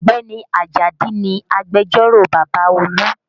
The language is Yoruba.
Ọ̀gbẹ́ni Ajadi ni agbẹjẹ́rò bàbá Olú